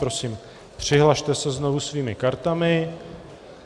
Prosím, přihlaste se znovu svými kartami.